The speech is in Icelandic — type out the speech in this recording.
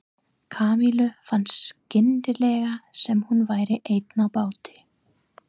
Kamillu fannst skyndilega sem hún væri ein á báti.